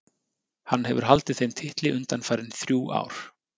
Hann hefur haldið þeim titli undanfarin þrjú ár.